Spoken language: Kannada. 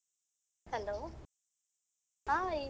Hello hai.